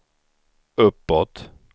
uppåt